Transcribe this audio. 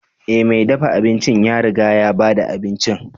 Ee, mai dafa abinci ya riga ya ba da abincin.